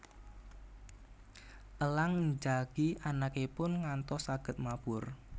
Elang njagi anakipun ngantos saged mabur